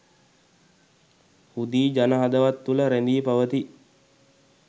හුදී ජන හදවත් තුළ රැඳී පවතී.